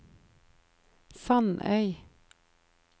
Sandøy